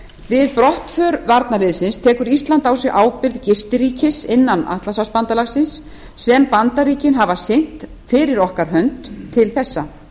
við brottför varnarliðsins tekur ísland á sig ábyrgð ríkis innan bandalagsins sem bandaríkin hafa sinnt fyrir okkar hönd til þessa